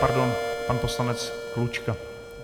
Pardon, pan poslanec Klučka.